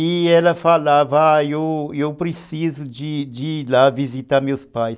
E ela falava, ah, eu eu preciso de de ir lá visitar meus pais.